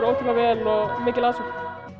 ótrúlega vel og mikil aðsókn